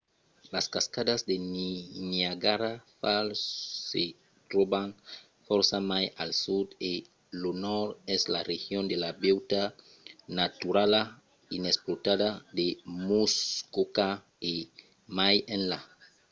las cascadas de niagara falls se tròban fòrça mai al sud e lo nòrd es la region de la beutat naturala inexplotada de muskoka e mai enlà